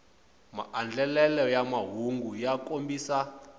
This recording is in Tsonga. maandlelelo ya mahungu ya kombisa